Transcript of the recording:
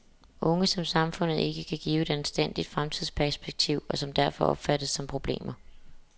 Unge, som samfundet ikke kan give et anstændigt fremtidsperspektiv og som derfor opfattes som problemer.